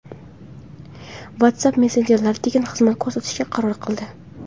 WhatsApp messenjeri tekin xizmat ko‘rsatishga qaror qildi.